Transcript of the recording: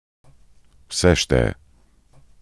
Vse šteje.